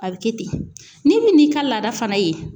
A bɛ kɛ ten, n'i me n'i ka laada fana ye